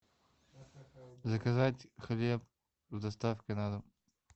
заказать хлеб с доставкой на дом